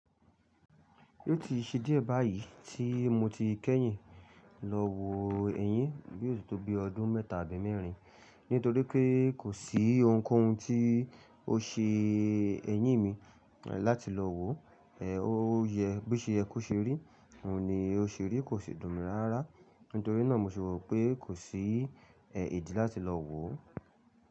Ó ti ṣe díẹ̀ báyìí tí mo ti kẹ́yìn lọ wo ẹyin, bí ó ṣe tó bí ọdún mẹ́ta àbí mẹ́rin. Nítorí pé kò sí ohunkóhun tí ó ṣe ẹyín mi láti lọ wò. Ẹ̀ ó yẹ bí o ṣe yẹ ko ṣe rí, òun ni ó ṣe rí kò sì dùn mi rárá. Nítorí náà mo sì rò pé kò sí èdí láti lọ wò.